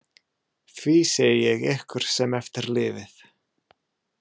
Því segi ég ykkur sem eftir lifið.